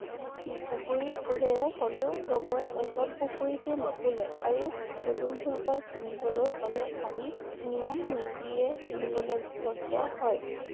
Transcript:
পুখুৰীত ফুলে হ'লেও চবৰ চব পুখুৰীতে নুফুলে আৰু পদুম ফুলপাহ চিঙিবলৈ হলে আমি নিয়ম নীতিৰে চিঙিব লগীয়া হয়